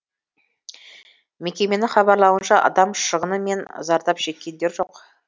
мекеменің хабарлауынша адам шығыны мен зардап шеккендер жоқ